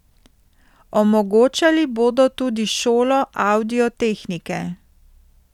Omogočali bodo tudi šolo avdio tehnike.